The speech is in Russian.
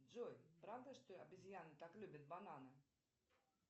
джой правда что обезьяны так любят бананы